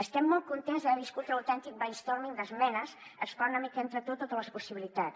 estem molt contents d’haver viscut un autèntic brainstorming d’esmenes explora una mica entre tot totes les possibilitats